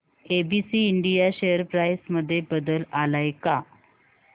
ABC India share price मध्ये बदल आलाय का